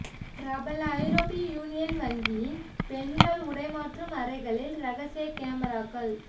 பிரபல ஐரோப்பிய யூனியன் வங்கியின் பெண்கள் உடைமாற்றும் அறைகளில் ரகசிய கேமராக்கள்